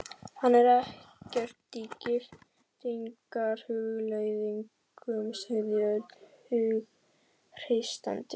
Hann er ekkert í giftingarhugleiðingum, sagði Örn hughreystandi.